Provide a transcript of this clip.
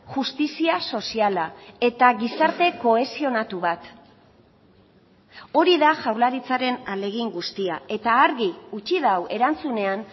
justizia soziala eta gizarte kohesionatu bat hori da jaurlaritzaren ahalegin guztia eta argi utzi du erantzunean